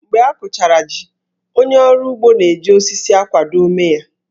Mgbe a kụchara jí, onye ọrụ ugbo na-eji osisi akwado ómé ya